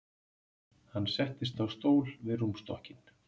Hann settist á stól við rúmstokkinn.